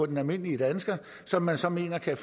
den almindelige dansker som man så mener kan